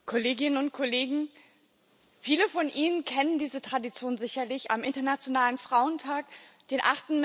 Herr Präsident, Kolleginnen und Kollegen! Viele von Ihnen kennen diese Tradition sicherlich, am Internationalen Frauentag, dem